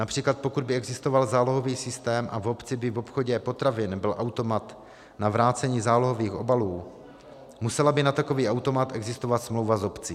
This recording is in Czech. Například pokud by existoval zálohový systém a v obci by v obchodě potravin byl automat na vrácení zálohových obalů, musela by na takový automat existovat smlouva s obcí.